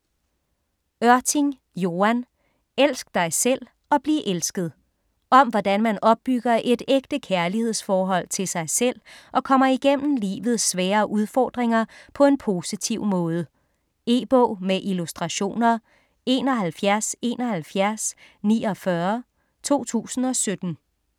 Ørting, Joan: Elsk dig selv og bliv elsket Om hvordan man opbygger et ægte kærlighedsforhold til sig selv og kommer igennem livets svære udfordringer på en positiv måde. E-bog med illustrationer 717149 2017.